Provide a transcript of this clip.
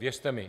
Věřte mi.